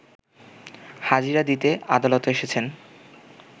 হাজিরা দিতে আদালতে এসেছেন